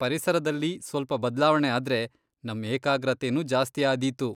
ಪರಿಸರದಲ್ಲಿ ಸ್ವಲ್ಪ ಬದ್ಲಾವಣೆ ಆದ್ರೆ, ನಮ್ ಏಕಾಗ್ರತೆನೂ ಜಾಸ್ತಿ ಆದೀತು.